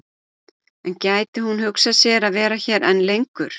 En gæti hún hugsað sér að vera hér enn lengur?